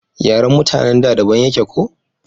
yaren mutanen da daban yake ko?